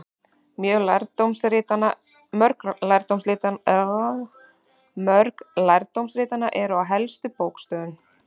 Mörg lærdómsritanna eru til á helstu bókasöfnum.